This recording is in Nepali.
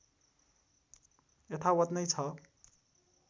यथावत् नै छ